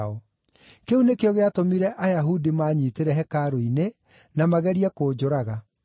Kĩu nĩkĩo gĩatũmire Ayahudi maanyiitĩre hekarũ-inĩ, na magerie kũnjũraga.